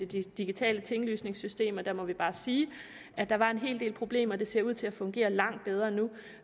til de digitale tinglysningssystemer og der må jeg bare sige at der var en hel del problemer det ser ud til at fungere langt bedre nu